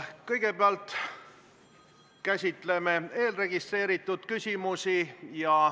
Kõigepealt käsitleme eelregistreeritud küsimusi.